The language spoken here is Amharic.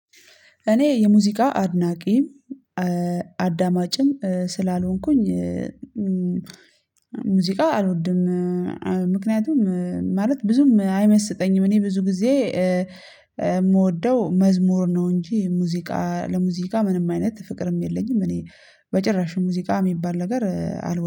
እኔ የሙዚቃ አድናቂም አዳማጭም ስላልሆንኩኝ ሙዚቃ አልወድም። ምክንያቱም ማለት ብዙም አይመስጠኝም እኔ ብዙ ጊዜ የምወደው መዝሙር ነው እንጂ ሙዚቃ ለሙዚቃ ምንም አይነት ፍቅርም የለኝም። እኔ በጭራሽ ሙዚቃ የሚባል ነገር አልወ